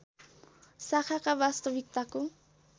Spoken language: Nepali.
शाखाका वास्तविकताको